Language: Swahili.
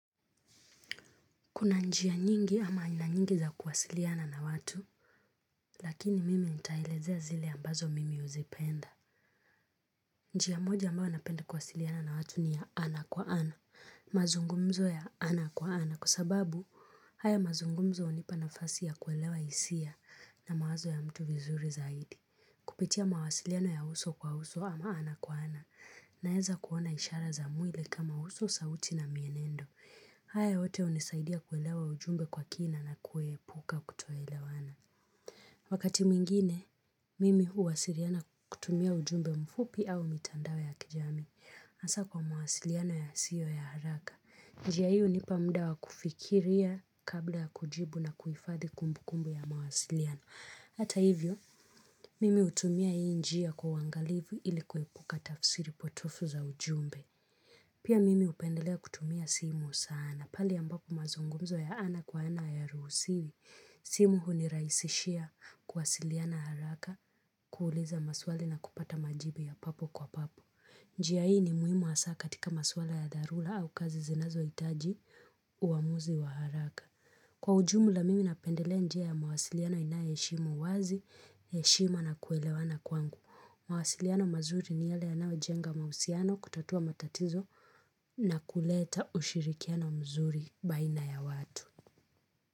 Kuna njia nyingi ama nina nyingi za kuwasiliana na watu, lakini mimi nitalezea zile ambazo mimi huzipenda. Njia moja ambao napenda kuwasiliana na watu ni ya ana kwa ana, mazungumzo ya ana kwa ana, kusababu haya mazungumzo onipa nafasi ya kuelewa hisia na mawazo ya mtu vizuri zaidi. Kupitia mawasiliano ya uso kwa uso ama ana kwa ana, naeza kuona ishara za mwile kama uso sauti na mienendo. Haya hote hunisaidia kuelewa ujumbe kwa kina na kueepuka kutoelawana. Wakati mwingine, mimi huwasiliana kutumia ujumbe mfupi au mitandawe ya kijami. Asa kwa mawasiliana ya siyo ya haraka. Njia hii hunipamdawa kufikiria kabla ya kujibu na kuifadhi kumbu kumbu ya mawasiliano. Hata hivyo, mimi utumia hii njia kwa wangalivu ilikuepuka tafsiri potofu za ujumbe. Pia mimi upendelea kutumia simu sana. Pali ambapo mazungumzo ya ana kwa ana ya rusiwi. Simu huniraisishia kwasiliana haraka kuuliza maswali na kupata majibu ya papo kwa papo. Njia hii ni muhimu hasaka katika maswali ya darula au kazi zinazo itaji uamuzi wa haraka. Kwa ujumu la mimi napendelea njia ya mawasiliano ina yeshimo wazi, yeshima na kuelewana kwangu. Mawasiliano mazuri ni yale ya nawe jenga mausiano kutatua matatizo na kuleta ushirikiano mzuri baina ya watu.